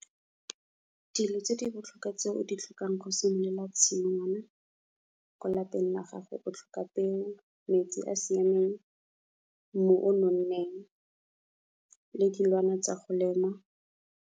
Dilo tse di botlhokwa tse o di tlhokang go simolola tshingwana, ko lapeng la gago o tlhoka peo, metsi a a siameng, mmu o nonneng le dilwana tsa go lema.